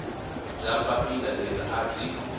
bya papila leri a byi